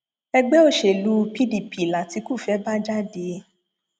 ẹgbẹ òṣèlú pdp latikú fẹẹ bá jáde